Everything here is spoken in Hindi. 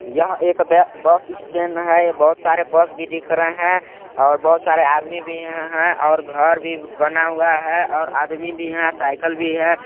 यह एक ब बस स्टैण्ड है ये बहुत सारे बस भी दिख रहे है बहुत सारे आदमी भी है और घर भी बना हुआ है और आदमी भी है साइकिल भी हैं।